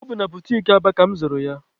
Ọ bụ na butiki Aba ka mụ zụrụ ya.